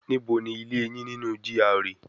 Níbo ni ilé yín nínú GRA